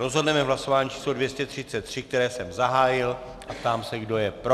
Rozhodneme v hlasování číslo 233, které jsem zahájil, a ptám se, kdo je pro.